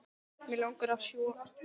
Mig langar að sjúga.